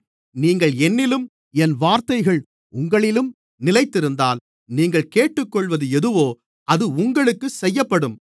நீங்கள் என்னிலும் என் வார்த்தைகள் உங்களிலும் நிலைத்திருந்தால் நீங்கள் கேட்டுக்கொள்ளுவது எதுவோ அது உங்களுக்குச் செய்யப்படும்